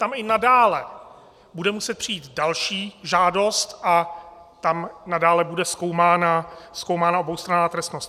Tam i nadále bude muset přijít další žádost a tam nadále bude zkoumána oboustranná trestnost.